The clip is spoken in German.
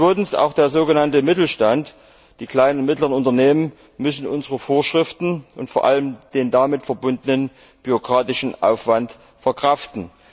Zweitens, auch der sogenannte Mittelstand, die kleinen und mittleren Unternehmen, müssen unsere Vorschriften und vor allem den damit verbundenen bürokratischen Aufwand verkraften.